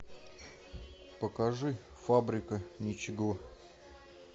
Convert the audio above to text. покажи фабрика ничего